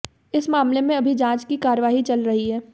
इस मामले में अभी जांच की कार्रवाई चल रही है